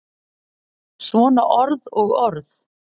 Svona orð og orð.